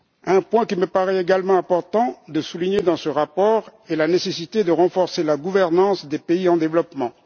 Un point qu'il me paraît également important de souligner dans ce rapport est la nécessité de renforcer la gouvernance des pays en développement.